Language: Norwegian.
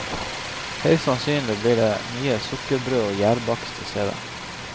Høyst sannsynlig blir det mye sukkerbrød og gjærbakst i stedet.